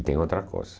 E tem outra coisa.